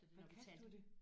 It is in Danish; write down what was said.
Hvad kaldte du det?